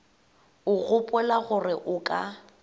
o gopola gore o ka